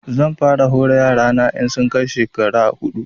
Zan fara hore yara na in sun kai shekara huɗu